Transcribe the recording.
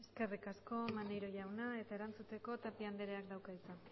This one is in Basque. eskerrik asko maneiro jauna eta erantzuteko tapia andereak dauka hitza